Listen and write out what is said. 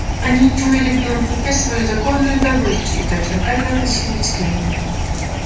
они чуяли в белом клыке свою законную добычу и точно так же относились к ним